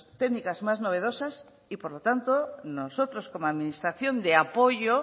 técnicas más novedosas y por lo tanto nosotros como administración de apoyo